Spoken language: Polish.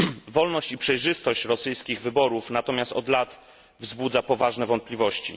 Wolność i przejrzystość rosyjskich wyborów natomiast od lat wzbudza poważne wątpliwości.